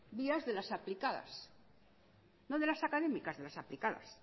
vías de las aplicadas no de las académicas de las aplicadas